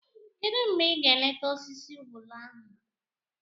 Kedụ mgbe ị ga-leeta osisi ubulu ahụ?